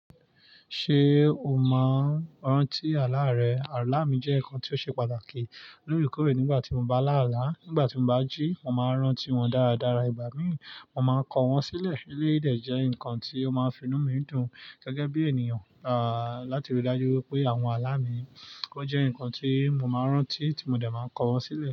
Ṣé o máa ń rántí àlá rẹ? Àlá mi jẹ́ nǹkan tó ṣe pàtàkì lóorekórè nígbà tí mo bá lá àlá. Nígbà tí mo bá jí, mo máa ń rántí wọn dáradára. Ìgbà mí, mo máa ń kọ wọ́n sílẹ̀. Eléyi dè jẹ́ nǹkan tí ó máa ń finú mi dùn gẹ́gẹ́ bí ènìyàn, à, láti rí i dájú pé àwọn àlá mi, ó jẹ́ nǹkan tí mo máa ń rántí tí mo dẹ̀ máa kọ wọ́n sílẹ̀.